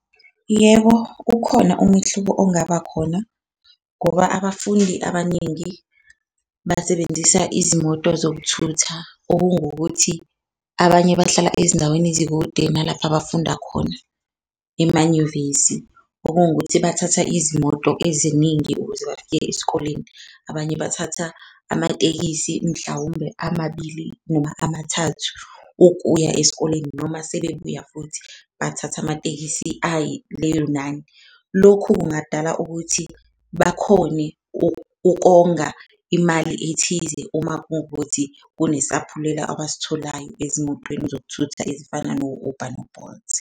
Yebo, ukhona umehluko ongaba khona ngoba abafundi abaningi basebenzisa izimoto zokuthutha, okungukuthi abanye bahlala ezindaweni ezikude nalapho abafunda khona emanyuvesi okungukuthi bathatha izimoto eziningi ukuze bafike esikoleni. Abanye bathatha amatekisi mhlawumbe amabili noma amathathu ukuya esikoleni noma sebebuya futhi bathathe amatekisi ayi leyo nani. Lokhu kungadala ukuthi bakhone ukonga imali ethize uma kuwukuthi kunesaphulelo abasitholayo ezimotweni zokuthutha ezifana no-Uber no-Bolt.